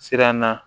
Siran na